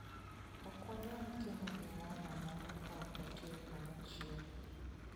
Ok wanyal timo gimoro amora ka ok watiyo kanyachiel.